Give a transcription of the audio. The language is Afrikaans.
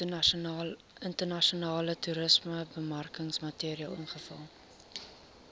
internasionale toerismebemarkingsmateriaal invul